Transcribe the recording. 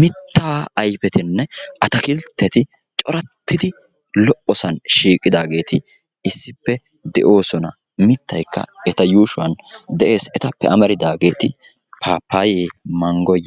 mitaa ayfetinne ataakiltetti coratidi lo'osan issippe shiiqidaageeti de'oosona. mitaykka eta yuushuwan de'ees. paapayee muuzee